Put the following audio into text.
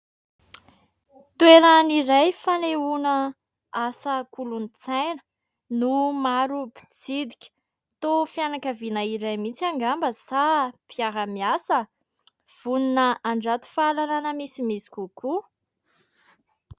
Toerana iray fanehoana asa kolontsaina no maro mpitsidika. Toa fianankaviana iray mihitsy angamba sa mpiara-miasa vonona handrato fahalalana misimisy kokoa.